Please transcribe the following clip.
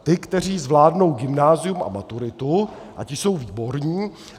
Ty, kteří zvládnou gymnázium a maturitu - a ti jsou výborní.